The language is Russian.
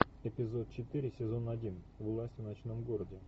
эпизод четыре сезон один власть в ночном городе